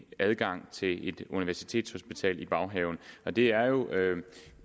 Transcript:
adgang til et universitetshospital i baghaven det er jo